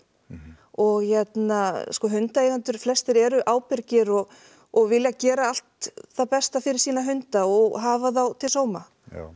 og hérna sko hundaeigendur flestir eru ábyrgir og og vilja gera allt það besta fyrir sína hunda og hafa þá til sóma